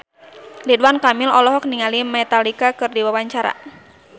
Ridwan Kamil olohok ningali Metallica keur diwawancara